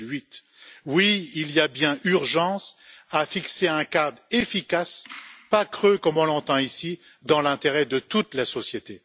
2008. Oui, il y a bien urgence à fixer un cadre efficace, pas creux comme on l'entend ici, dans l'intérêt de toute la société.